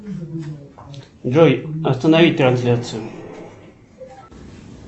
джой останови трансляцию